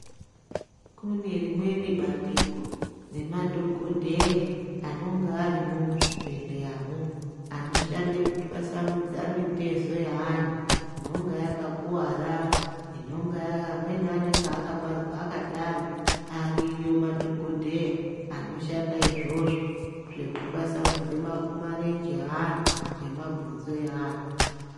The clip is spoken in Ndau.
Kune rimweni bandiko remadhokodheya anonga arimwo muzvibhehleyamwo anoshande kutwasatanudze mitezo yeanhu inonga yakakuwara amweni anonga akabarwa akadaro ariyo madhokodheya anoshanda izvozvo zvekutwasanudze marenje eanhu nemabhonzo eanhu.